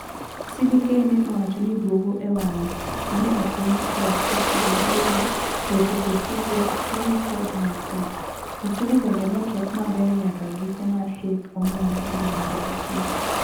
CBK ne owacho ni duogo e wang'e ne okony kod sekta mag gedo, weche kod tudruok, somo kod mar udi. Osuru bende nochok maber nyaka gika mar hik omenda e dwe mar auchiel.